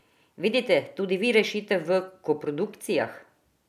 Vidite tudi vi rešitev v koprodukcijah?